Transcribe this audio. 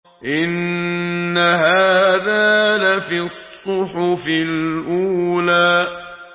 إِنَّ هَٰذَا لَفِي الصُّحُفِ الْأُولَىٰ